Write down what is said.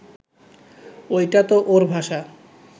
ওইটা তো ওর ভাষা